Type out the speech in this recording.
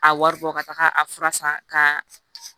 A wari bɔ ka taga a fura san ka